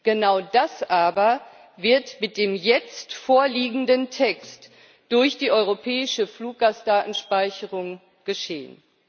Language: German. Genau das aber wird mit dem jetzt vorliegenden Text durch die europäische Fluggastdatenspeicherung geschehen.